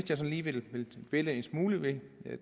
sådan lige vil pille en smule ved